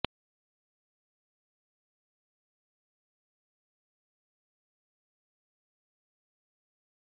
आहारतज्ज्ञांच्या सल्ल्यानुसार योग्य प्रमाणात या स्मूदीचे सेवन केलं तर वजन कमी होण्यास मदत मिळू शकेल